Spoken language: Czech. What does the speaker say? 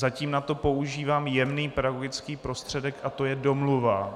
Zatím na to používám jemný pedagogický prostředek a to je domluva.